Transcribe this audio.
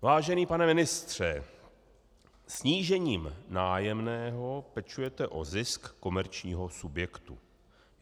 Vážený pane ministře, snížením nájemného pečujete o zisk komerčního subjektu.